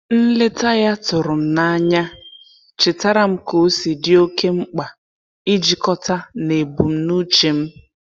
Nleta ya tụrụ m n'anya chetaara m ka-osi di oke mkpa ijikọta na ebumnuche m.